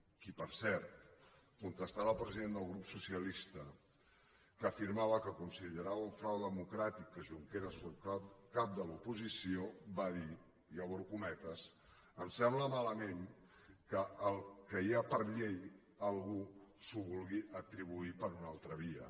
qui per cert contestant al president del grup socialista que afirmava que considerava un frau democràtic que junqueras fos cap de l’oposició va dir i obro cometes em sembla malament que el que hi ha per llei algú s’ho vulgui atribuir per una altra via